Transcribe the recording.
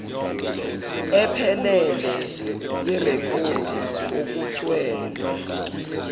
ephelele yerekhodi okucelwe